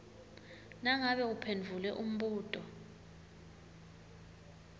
nangabe uphendvule umbuto